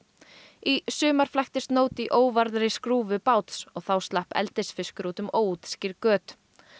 í sumar flæktist nót í óvarðri skrúfu báts og þá slapp eldisfiskur út um óútskýrð göt